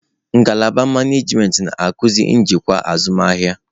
Ngalaba manajimentị na-akụzi njikwa azụmahịa.